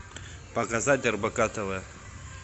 показать рбк тв